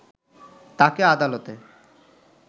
তাকে আদালতে